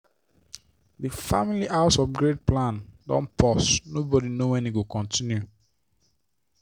di family house upgrade plan don pause nobody know when e go continue.